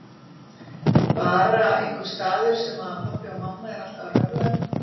Bara einhver staður sem pabbi og mamma eru alltaf að röfla um.